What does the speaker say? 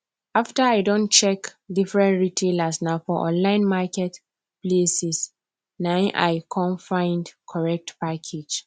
after i don check different retailers na for online market places nai i come find correct package